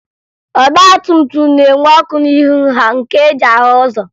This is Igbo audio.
Ọgbatumtum na-enwe ọkụ n'ihu ha nke e ji ahụ ụzọ